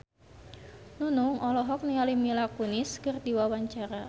Nunung olohok ningali Mila Kunis keur diwawancara